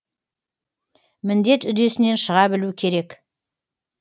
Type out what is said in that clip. міндет үдесінен шыға білу керек